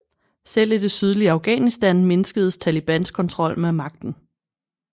Selv i det sydlige Afghanistan mindskedes Talibans kontrol med magten